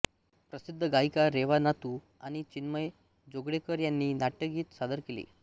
प्रसिद्ध गायिका रेवा नातू आणि चिन्मय जोगळेकर यांनी नाट्यगीत सादर केले